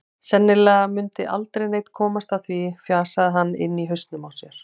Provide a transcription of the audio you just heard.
Sennilega mundi aldrei neinn komast að því, fjasaði hann inni í hausnum á sér.